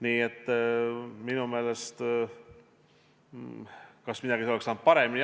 Kas midagi oleks saanud paremini teha?